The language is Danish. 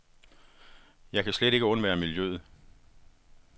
Jeg kan slet ikke undvære miljøet.